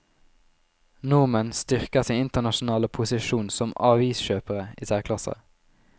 Nordmenn styrker sin internasjonale posisjon som aviskjøpere i særklasse.